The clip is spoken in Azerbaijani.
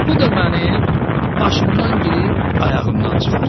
Bu da mənim başımdan girib ayağımdan çıxar.